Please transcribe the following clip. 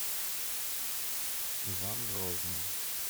иван грозный